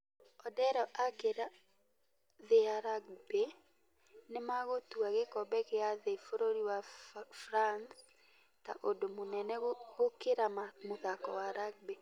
Odero akĩra thĩ ya rugby , nĩmagũtua gĩkobe gĩa thĩ bũrũri wa france ta ũndũ mũnene gũkĩra mũthako wa rugby.